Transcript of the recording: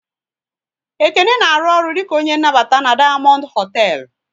Ekene na arụ ọrụ dịka onye nnabata na Dayamondu hotel